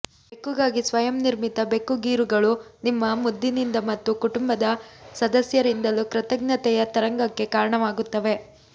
ಬೆಕ್ಕುಗಾಗಿ ಸ್ವಯಂ ನಿರ್ಮಿತ ಬೆಕ್ಕು ಗೀರುಗಳು ನಿಮ್ಮ ಮುದ್ದಿನಿಂದ ಮತ್ತು ಕುಟುಂಬದ ಸದಸ್ಯರಿಂದಲೂ ಕೃತಜ್ಞತೆಯ ತರಂಗಕ್ಕೆ ಕಾರಣವಾಗುತ್ತವೆ